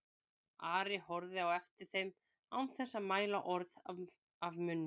Ari horfði á eftir þeim án þess að mæla orð af munni.